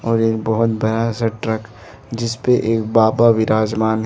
और एक बहुत बड़ा सा ट्रक जिस पे एक बाबा विराजमान है।